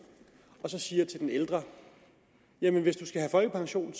og siger til den ældre hvis du skal have folkepension